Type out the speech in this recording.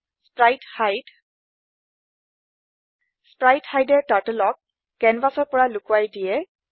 sprite hide sprite hide এ Turtleক কেনভাচৰ পৰা লোকোৱাই দিয়ে